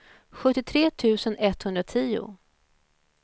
sjuttiotre tusen etthundratio